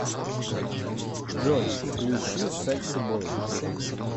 джой включи секси бой